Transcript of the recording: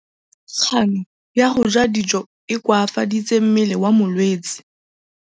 Kganô ya go ja dijo e koafaditse mmele wa molwetse.